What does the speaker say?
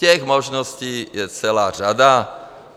Těch možností je celá řada.